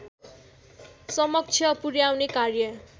समक्ष पुर्‍याउने कार्य